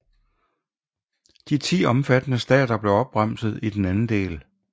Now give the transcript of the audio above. De 10 omfattede stater blev opremset i den anden del